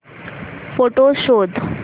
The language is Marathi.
फोटोझ शोध